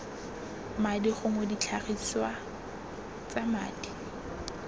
madi gongwe ditlhagiswa tsa madi